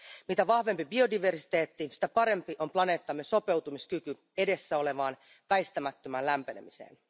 Mitä vahvempi biodiversiteetti, sitä parempi on planeettamme sopeutumiskyky edessä olevaan väistämättömään lämpenemiseen.